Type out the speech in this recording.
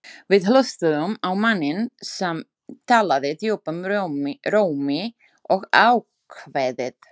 Við hlustuðum á manninn sem talaði djúpum rómi og ákveðið.